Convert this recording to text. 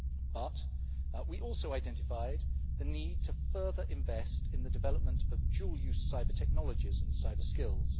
But we also identified the need to further invest in the development of dual use cyber-technologies and cyber-skills.